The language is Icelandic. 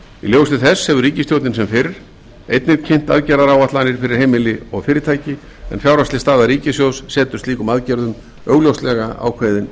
ljósi þess hefur ríkisstjórnin sem fyrr einnig kynnt aðgerðaáætlanir fyrir heimili og fyrirtæki en fjárhagsleg staða ríkissjóðs setur slíkum aðgerðum augljóslega ákveðin